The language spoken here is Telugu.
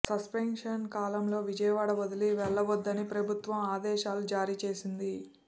సస్పెన్షన్ కాలంలో విజయవాడ వదిలి వెళ్లవద్దని ప్రభుత్వం ఆదేశాలు జారీచేసింది